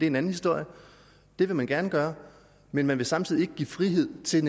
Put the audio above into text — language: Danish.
en anden historie det vil man gerne gøre men man vil samtidig ikke give frihed til